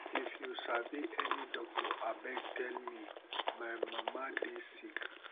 if you sabi any doctor abeg tell me my mama dey sick